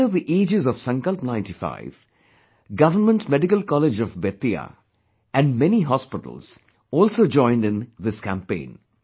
Under the aegis of 'Sankalp Ninety Five', Government Medical College of Bettiah and many hospitals also joined in this campaign